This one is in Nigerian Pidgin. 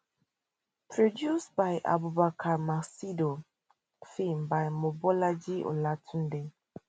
produced by abubakar maccido filmed by mobolaji olatunde